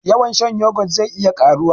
Yawan shan yoghurt zai iya karuwa